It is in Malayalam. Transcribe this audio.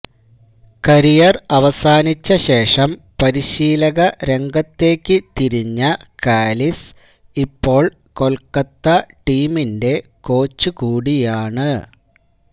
കരിയര് അവസാനിച്ച ശേഷം പരിശീലകരംഗത്തേക്ക് തിരിഞ്ഞ കാലിസ് ഇപ്പോള് കൊല്ക്കത്ത ടീമിന്റെ കോച്ച് കൂടിയാണ്